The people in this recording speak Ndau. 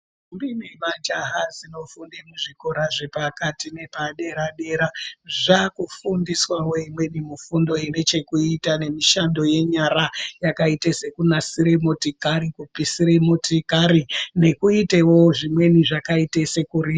Majaha anofunda muzvikora zvepakati nepaderadera akufundiswawo imweni mifundo ine chekuita nemishando yenyara yakaite sekunasire motikari, kupishire motikari nekuitewo zvimweniwo zvakaite sekurima.